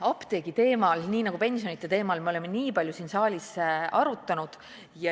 Apteegi teemal, nagu ka pensionide teemal me oleme siin saalis väga palju arutanud.